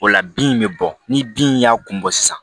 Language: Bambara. O la bin bɛ bɔ ni bin in y'a kun bɔ sisan